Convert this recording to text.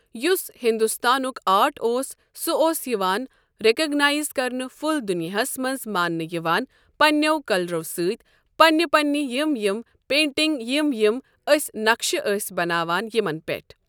یُس ہِندستانک آرٹ اوس سُہ اوس یِوان رکاگنایز کرنہٕ فل دُنیاہَس منٛز مانٛنہٕ یوان پنٛنٮ۪و کلرو سۭتۍ پنٛنہ پنٛنہ یم یم پینٹنٛگ یم یم أسۍ نَقشہٕ ٲسۍ بناوان یمن پٮ۪ٹھ ۔